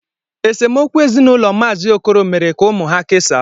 Esemokwu ezinụlọ maazi Okoro mere ka ụmụ ha kesaa